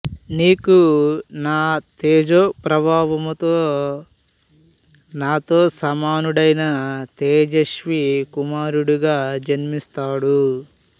నీకు నా తేజోప్రభావముతో నాతో సమానుడైన తేజస్వి కుమారుడిగా జన్మిస్తాడు